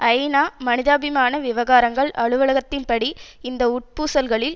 ஐநா மனிதாபிமான விவகாரங்கள் அலுவலகத்தின் படி இந்த உட்பூசல்களில்